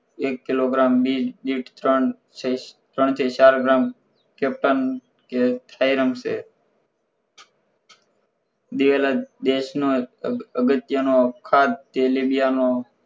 એક kilogram બીજ દીઠ ત્રણ થી ત્રણ થી ચાર ગ્રામ capture કે Thairum છે દિવેલા batch નો અગત્ય નો ખાધ તેલિબિયાનો